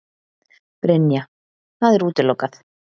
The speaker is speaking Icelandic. Brynja: Það er útilokað?